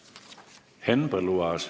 Henn Põlluaas.